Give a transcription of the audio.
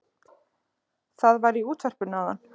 Það var í útvarpinu áðan